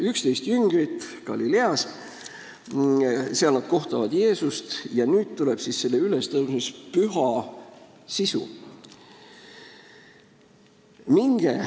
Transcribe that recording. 11 jüngrit Galileas, seal nad kohtavad Jeesust ja nüüd tuleb siis selle ülestõusmispüha sisu.